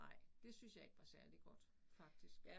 Nej det syntes jeg ikke var særlig godt faktisk